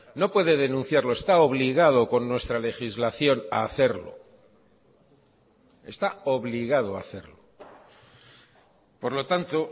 no puede denunciarlo está obligado con nuestra legislación a hacerlo está obligado a hacerlo por lo tanto